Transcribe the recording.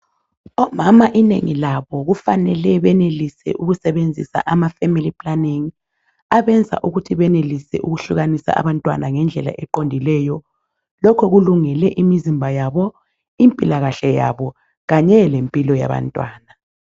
Omama inengilabo kufanele benelise ukusebenzisa amafemili planingi abenza ukuthi benelise ukuhlukanisa abantwana ngendlela eqondileyo lokhu kulungele imizimba yabo, impilakahle yabo kanye lempilo yabantwana.